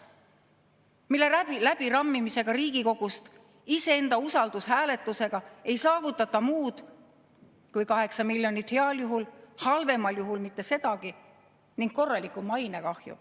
läbirammimisega Riigikogust iseenda usaldushääletuse abil ei saavutata muud kui heal juhul 8 miljonit, halvemal juhul mitte sedagi, ning korralik mainekahju.